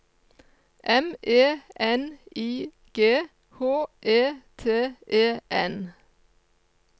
M E N I G H E T E N